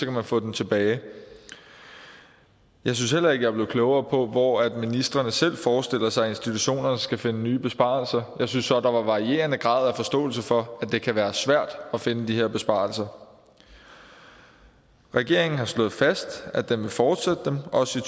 kan få tilbage jeg synes heller ikke jeg er blevet klogere på hvor ministrene selv forestiller sig at institutionerne skal finde nye besparelser jeg synes så der var en varierende grad af forståelse for at det kan være svært at finde de her besparelser regeringen har slået fast at den vil fortsætte dem også i